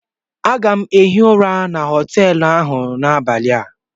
Aga m ehi ụra na họteelụ ahụ n'abalị a